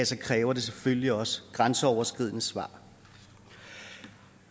så kræver det selvfølgelig også grænseoverskridende svar